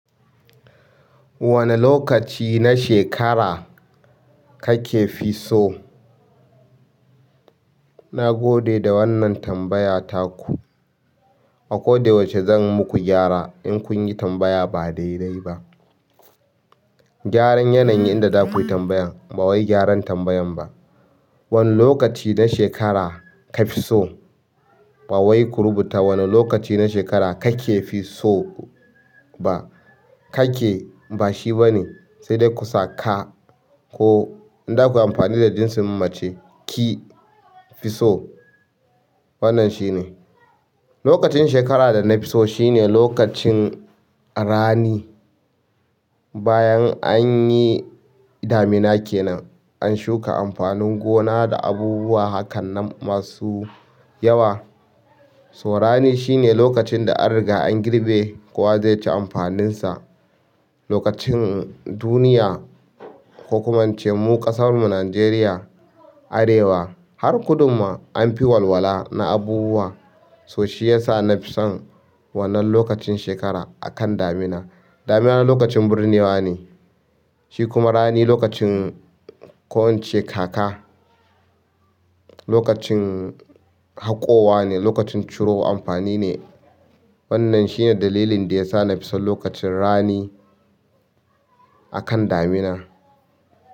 Wani lokaci na shekara kake fi so? Na gode da wannan tambaya taku. A ko da yaushe zan muku gyara in kun yi tambaya ba daidai ba. Gyaran yanayin da za ku yi tambayan. Ba wai gyaran tambayan ba. Wane lokaci na shekara ka fi so? Ba wai ku rubuta wane lokaci na shekara kake fi so ba. Kake ba shi ba ne, sai dai ku saka ko in za ku yi amfani da jinsin mace ki fi so. Wannan shine. Lokacin shekara da na fi so shine lokacin rani. Bayan an yi damina kenan, an shuka amfanin gona da abubuwa hakan nan masu yawa. To rani shine lokacin da an riga an girɓe kowa ze ci amfanin sa. Lokacin duniya ko kuma in ce mu ƙasarmu Najeriya arewa har kudumma an fi walwala na abubuwa. To shi ya sa na fi son wannan lokacin shekara a kan damina. Damina lokacin birnewa ne, shi kuma rani lokacin ko in ce kaka lokacin haƙowa ne, lokacin ciro amfani ne. Wannan shine dalilin da ya sa na fi son lokacin rani a kan damina.